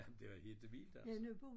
Ah men det var helt vildt altså